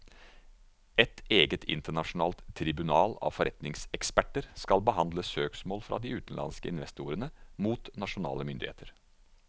Et eget internasjonalt tribunal av forretningseksperter skal behandle søksmål fra de utenlandske investorene mot nasjonale myndigheter.